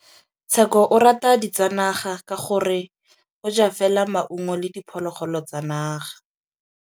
Tshekô o rata ditsanaga ka gore o ja fela maungo le diphologolo tsa naga.